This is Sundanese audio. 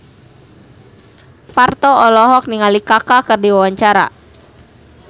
Parto olohok ningali Kaka keur diwawancara